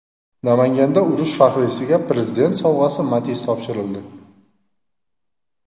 Namanganda urush faxriysiga Prezident sovg‘asi Matiz topshirildi.